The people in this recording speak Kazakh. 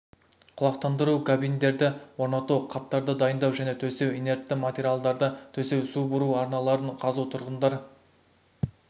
құлақтандыру габиндерді орнату қаптарды дайындау және төсеу инертті материалдарды төсеу су бұру арналарын қазу тұрғындар